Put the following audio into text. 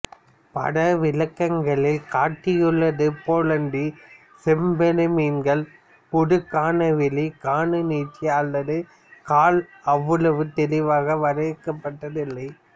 பட விளக்கங்களில் காட்டியுள்ளது போலன்றி செம்பெருமீன்களின் உடுக்கணவெளிக் கணுநீட்சி அல்லது கால் அவ்வளவு தெளிவாக வரையறுக்கப்பட்ட்தல்ல